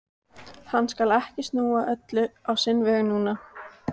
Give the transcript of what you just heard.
Hann skal ekki snúa öllu á sinn veg núna.